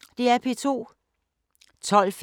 Samme programflade som øvrige dage